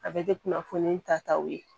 A bɛ kɛ kunnafoni tataw ye